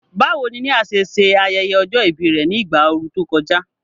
Báwo ni Nia ṣe ṣe ayẹyẹ ọjọ́ ìbí rẹ̀ ní ìgbà ooru tó kọjá?